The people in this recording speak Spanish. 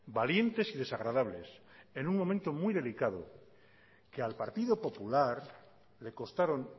valientes y desagradables en un momento muy delicado que al partido popular le costaron